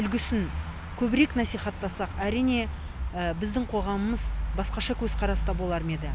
үлгісін көбірек насихаттасақ әрине біздің қоғамымыз басқаша көзқараста болар ма еді